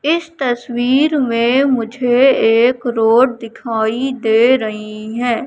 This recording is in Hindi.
इस तस्वीर में मुझे एक रोड दिखाई दे रहीं हैं।